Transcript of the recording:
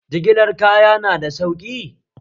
Jigilar kaya na da sauƙi?